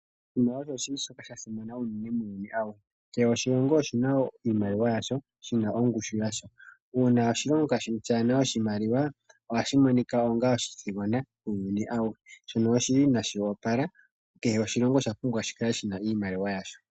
Oshimaliwa osho shili shoka sha simana unene muuyuni awuhe. Kehe oshilongo oshina iimaliwa yasho, shina ongushu yasho. Uuna oshilongo shaana oshimaliwa ohashi monika onga oshithigona muuyuni awuhe. Shono shili inashi wapala. Kehe oshilongo osha pumbwa shi kale shina iimaliwa yasho.